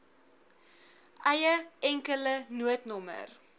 eie enkele noodnommer